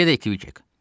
Gedək, Kviçek.